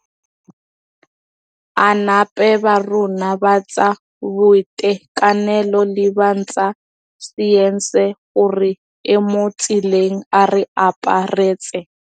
.